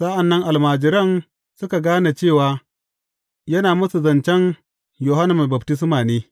Sa’an nan almajiran suka gane cewa yana musu zancen Yohanna Mai Baftisma ne.